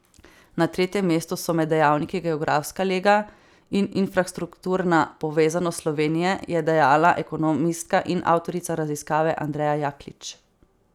Na tretjem mestu so med dejavniki geografska lega in infrastrukturna povezanost Slovenije, je dejala ekonomistka in avtorica raziskave Andreja Jaklič.